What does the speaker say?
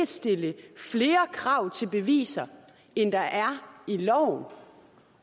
stille flere krav til beviser end der er i loven